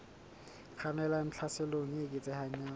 kgannelang tlhaselong e eketsehang ya